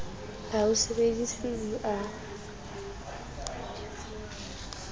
ha ho sebediswe di a